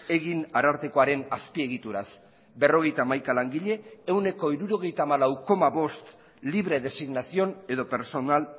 egin arartekoaren azpiegituraz berrogeita hamaika langile ehuneko hirurogeita hamalau koma bost libre designación edo personal